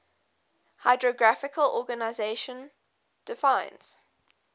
hydrographic organization defines